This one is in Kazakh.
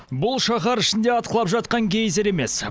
бұл шаһар ішінде атқылап жатқан гейзер емес